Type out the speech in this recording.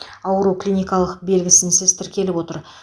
ауру клиникалық белгісінсіз тіркеліп отыр